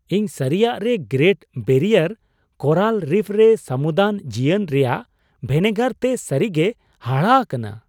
ᱤᱧ ᱥᱟᱹᱨᱤᱭᱟᱜ ᱨᱮ ᱜᱨᱮᱴ ᱵᱮᱨᱤᱭᱟᱨ ᱠᱳᱨᱟᱞ ᱨᱤᱯᱷ ᱨᱮ ᱥᱟᱹᱢᱩᱫᱟᱱ ᱡᱤᱭᱚᱱ ᱨᱮᱭᱟᱜ ᱵᱷᱮᱱᱮᱜᱟᱨ ᱛᱮ ᱥᱟᱹᱨᱤᱜᱮᱭ ᱦᱟᱦᱟᱲᱟᱜ ᱟᱠᱟᱱᱟ ᱾